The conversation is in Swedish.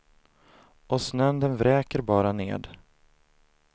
Och snön den vräker bara ned.